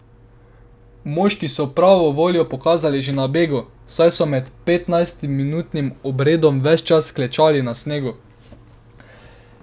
Moški so pravo voljo pokazali že na bregu, saj so med petnajstminutnim obredom ves čas klečali na snegu.